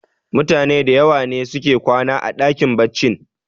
mutane da yawa ne suke kwana a dakin baccin